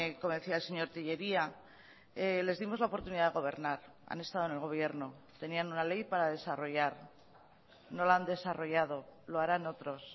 como decía el señor tellería les dimos la oportunidad de gobernar han estado en el gobierno tenían una ley para desarrollar no la han desarrollado lo harán otros